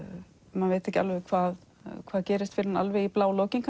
maður veit ekki alveg hvað hvað gerist fyrr en alveg í blálokin